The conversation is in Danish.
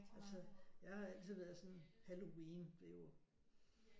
Altså jeg har altid været sådan halloween det er jo